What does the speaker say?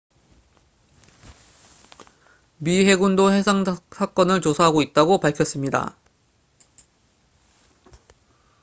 미 해군도 해당 사건을 조사하고 있다고 밝혓습니다